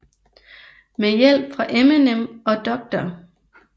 Med hjælp fra Eminem og Dr